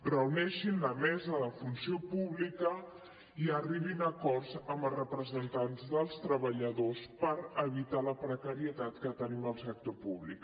reuneixin la mesa de funció pública i arribin a acords amb els representants dels treballadors per evitar la precarietat que tenim al sector públic